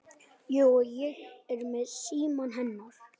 Jú, og ég er með símann hennar.